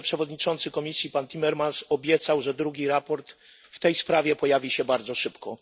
wiceprzewodniczący Komisji pan Timmermans obiecał, że drugi raport w tej sprawie pojawi się bardzo szybko.